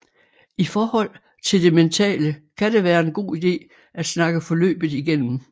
I forhold til det mentale kan det være en god ide at snakke forløbet igennem